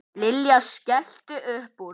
Lilla skellti upp úr.